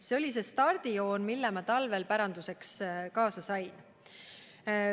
See oli stardijoon, mille ma talvel päranduseks kaasa sain.